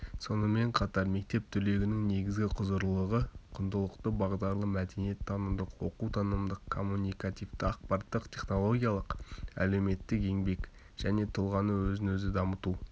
сонымен қатар мектеп түлегінің негізгі құзырлылығы құндылықты-бағдарлы мәдениет-танымдық оқу-танымдық коммуникативті ақпараттық-технологиялық әлеуметтік-еңбек және тұлғаны өзін-өзі дамыту